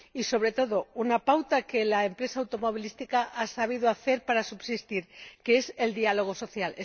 Y, sobre todo, hay una pauta que la empresa automovilística ha sabido establecer para subsistir, que es el diálogo social.